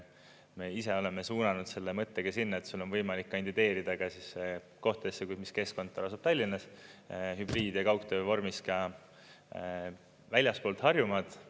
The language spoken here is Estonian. Me ise oleme suunanud selle mõtte ka sinna, et sul on võimalik kandideerida ka siis kohtadesse, mis keskkontor asub Tallinnas, hübriid- ja kaugtöövormis ka väljaspool Harjumaad.